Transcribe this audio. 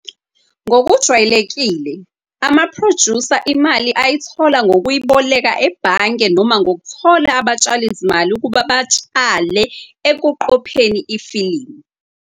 Ngokujwayelekile, ama"producer" imali ayithola ngokuyiboleka ebhange noma ngokuthola abatshalizimali ukuba batshale ekuqopheni ifilimu.